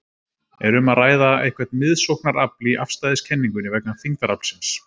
Er um að ræða eitthvert miðsóknarafl í afstæðiskenningunni vegna þyngdaraflsins?